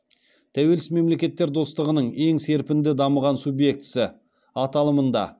тәуелсіз мемлекеттер достығының ең серпінді дамыған субъектісі аталымында